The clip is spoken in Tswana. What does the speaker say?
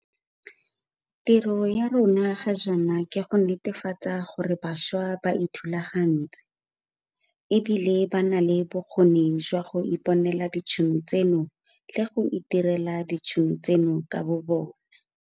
Tiro ya rona ga jaana ke go netefatsa gore bašwa ba ithulagantse e bile ba na le bokgoni jwa go iponela ditšhono tseno le go itirela ditšhono tseno ka bobona.